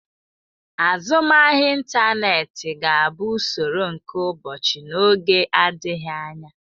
Azụmahịa ịntaneti ga-abụ usoro nke ụbọchị n'oge adịghị anya.